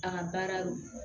A ka baara do